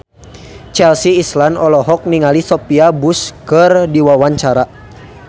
Chelsea Islan olohok ningali Sophia Bush keur diwawancara